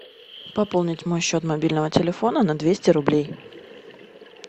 пополнить мой счет мобильного телефона на двести рублей